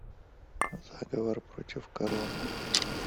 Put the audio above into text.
заговор против короны